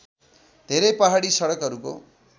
धेरै पहाडी सडकहरूको